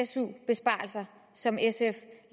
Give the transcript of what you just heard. su besparelser som sf